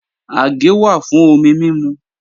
Àgé wà fún omi mímu